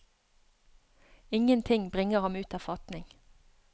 Ingenting bringer ham ut av fatning.